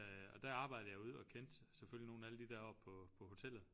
Øh og der arbejdede jeg ude og kendte selvfølgelig nogle af alle de deroppe på på hotellet